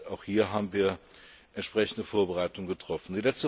wird. Auch hier haben wir entsprechende Vorbereitungen getroffen.